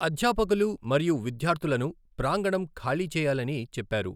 అధ్యాపకులు మరియు విద్యార్థులను ప్రాంగణం ఖాళీ చేయాలని చెప్పారు.